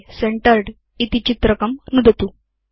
मध्ये सेन्टर्ड् इति चित्रकं नुदतु